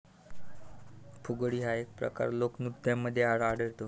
फुगडी हा प्रकार लोक नृत्यामध्ये आढळतो.